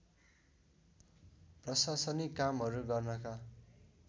प्रशासनिक कामहरू गर्नका